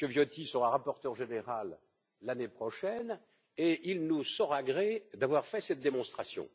Viotti sera rapporteur général l'année prochaine et il nous saura gré d'avoir fait cette démonstration.